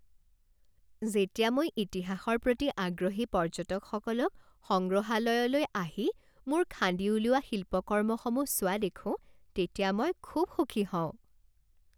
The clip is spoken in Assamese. যেতিয়া মই ইতিহাসৰ প্ৰতি আগ্ৰহী পৰ্য্যটকসকলক সংগ্ৰহালয়লৈ আহি মোৰ খান্দি উলিওৱা শিল্পকৰ্মসমূহ চোৱা দেখোঁ তেতিয়া মই খুব সুখী হওঁ।